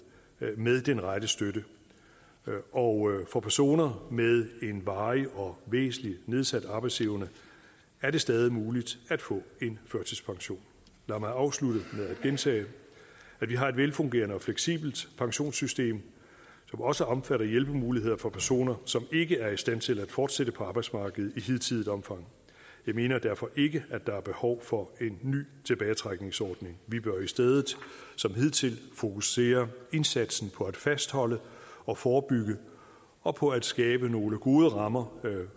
med den rette støtte og for personer med en varig og væsentlig nedsat arbejdsevne er det stadig muligt at få en førtidspension lad mig afslutte med at gentage at vi har et velfungerende og fleksibelt pensionssystem som også omfatter hjælpemuligheder for personer som ikke er i stand til at fortsætte på arbejdsmarkedet i hidtidigt omfang jeg mener derfor ikke at der er behov for en ny tilbagetrækningsordning vi bør i stedet som hidtil fokusere indsatsen på at fastholde og forebygge og på at skabe nogle gode rammer